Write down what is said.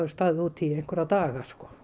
verið úti í nokkra daga